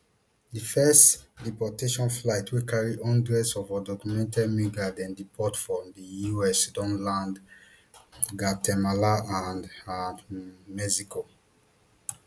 di first deportation flights wey carry hundreds of undocumented migrants dem deport from di us don land guatemala and and um mexico